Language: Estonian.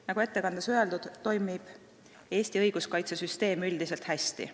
Nagu ettekandes öeldud, toimib Eesti õiguskaitsesüsteem üldiselt hästi.